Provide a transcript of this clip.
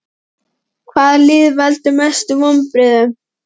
Hvaða lið veldur mestum vonbrigðum?